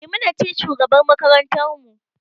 Maimuna ce shugabar makarantar mu